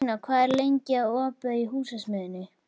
Bentína, hvað er lengi opið í Húsasmiðjunni?